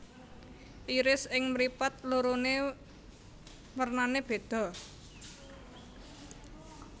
Iris ing mripat lorone wernane bedha